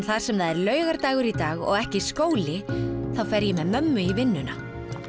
þar sem það er laugardagur og ekki skóli þá fer ég með mömmu í vinnunna